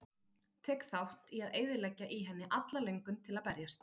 Tek þátt í að eyðileggja í henni alla löngun til að berjast.